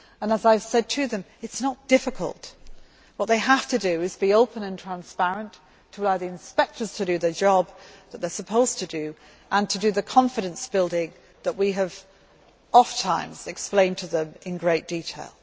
As I have said to them, it is not difficult what they have to do is be open and transparent, to allow the inspectors to do the job they are supposed to do and to do the confidence building that we have ofttimes explained to them in great detail.